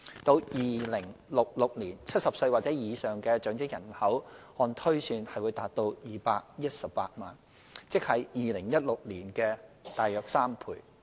至2066年 ，70 歲或以上長者人口按推算達218萬，即為2016年的約3倍。